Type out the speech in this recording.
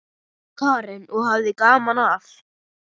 Karen: Og hafði gaman af?